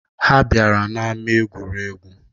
Ha bịara n'ama egwuregwu